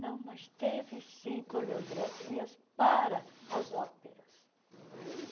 Não, mas teve, sim, coreografias para as óperas.